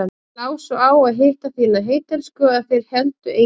Þér lá svo á að hitta þína heittelskuðu að þér héldu engin bönd.